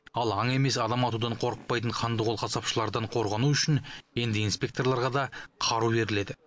ал аң емес адам атудан қорықпайтын қандықол қасапшылардан қорғану үшін енді инспекторларға да қару беріледі